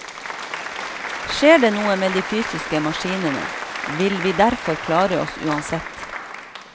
Skjer det noe med de fysiske maskinene, vil vi derfor klare oss uansett.